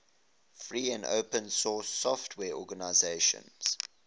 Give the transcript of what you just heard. free and open source software organizations